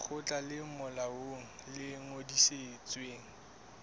lekgotla le molaong le ngodisitsweng